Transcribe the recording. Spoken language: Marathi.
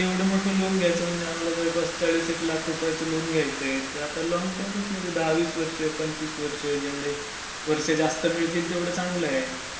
एवढा मोठा लोन घयायचा म्हणजे आम्हला जवळपास चाळीस एक लाखाचा लोन घयायचा ते आता लॉन्ग टर्म मधेच जेवढे निघतात दहा वीस वर्ष पंचिवस वर्ष जेवढे वर्ष जास्त मिळेल तेवढा चांगला आहे.